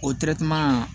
O